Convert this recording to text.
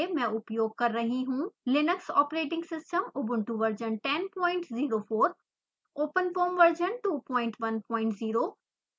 मैं उपयोग कर रही हूँ linux operating system ubuntu version 1004 openfoam version 210